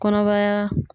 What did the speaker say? Kɔnɔbara